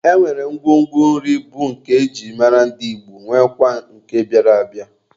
E nwere ngwongwo nri bụ nke e ji mara ndị Igbo nwekwaa nke bịara abịa.